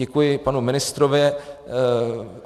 Děkuji panu ministrovi.